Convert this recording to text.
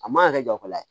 A man kan ka kɛ jɔyɔrɔ ye